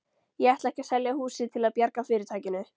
Ég ætla ekki að selja húsið til að bjarga fyrirtækinu.